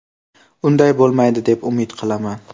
Unday bo‘lmaydi deb umid qilaman.